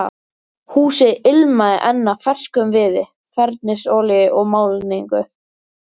Húsið ilmaði enn af ferskum viði, fernisolíu og málningu.